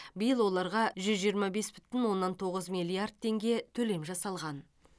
биыл оларға жүз жиырма бес бүтін оннан тоғыз миллиард теңге төлем жасалған